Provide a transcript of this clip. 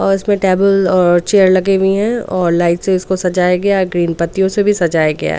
और इसमें टेबल और चेयर लगे हुई हैं और लाइट से उसको सजाया गया है ग्रीन पत्तियों से भी सजाया गया --